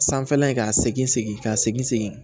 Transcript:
Sanfɛla ye ka segin segin ka segin segin